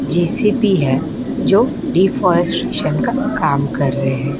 JCB है जो deforestation का काम कर रहे हैं।